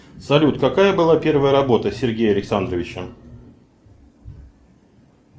салют какая была первая работа сергея александровича